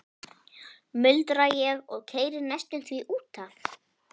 muldra ég og keyri næstum því út af.